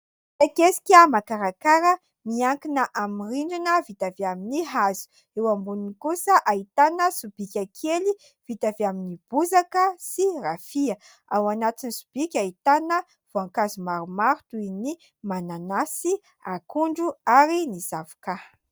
Kiesika makarakara miankina amin'ny rindrina vita avy amin'ny hazo. Eo amboniny kosa ahitana sobika kely vita avy amin'ny bozaka sy rafia. Ao anatin'ny sobika ahitana voankazo maromaro toy ny mananasy, akondro ary ny zavokà.